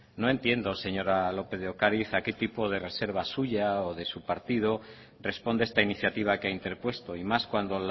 no entiendo señora lópez de ocariz a qué tipo de reserva suya o de su partido responde esta iniciativa que ha interpuesto y más cuando